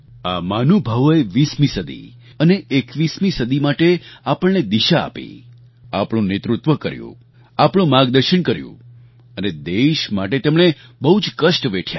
આ મહાનુભાવોએ ૨૦મી સદી અને ૨૧મી સદી માટે આપણને દિશા આપી આપણું નેતૃત્વ કર્યું આપણું માર્ગદર્શન કર્યું અને દેશ માટે તેમણે બહુ જ કષ્ટ વેઠ્યા